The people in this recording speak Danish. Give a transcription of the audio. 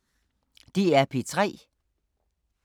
DR P3